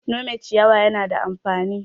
Nome ciyawa yana da amfani.